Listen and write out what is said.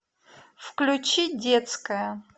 включи детская